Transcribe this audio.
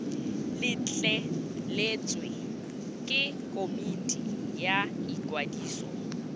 letleletswe ke komiti ya ikwadiso